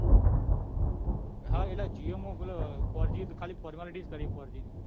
તો હા એટલે jio ખાલી four g formalty જ કરી four g